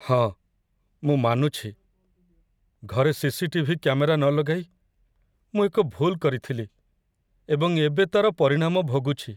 ହଁ, ମୁଁ ମାନୁଛି, ଘରେ ସି.ସି.ଟି.ଭି. କ୍ୟାମେରା ନ ଲଗାଇ ମୁଁ ଏକ ଭୁଲ୍ କରିଥିଲି, ଏବଂ ଏବେ ତା'ର ପରିଣାମ ଭୋଗୁଛି।